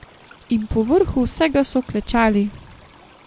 In povrhu vsega so klečali!